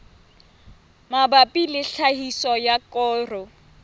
mabapi le tlhahiso ya koro